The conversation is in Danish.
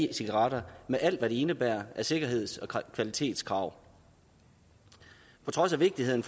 e cigaretter med alt hvad det indebærer af sikkerheds og kvalitetskrav på trods af vigtigheden